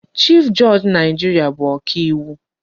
Chief judge Naịjirịa bụ ọka iwu.